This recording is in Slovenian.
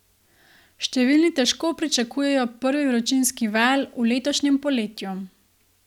Številni težko pričakujejo prvi vročinski val v letošnjem poletju.